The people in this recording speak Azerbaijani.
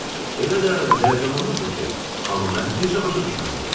Elə də həyəcanlanırdı ki, amma mən heç nə başa düşmədim.